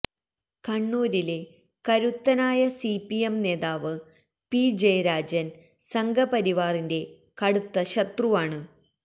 കണ്ണൂരിലെ കരുത്തനായ സിപിഎം നേതാവ് പി ജയരാജന് സംഘപരിവാറിന്റെ കടുത്ത ശത്രുവാണ്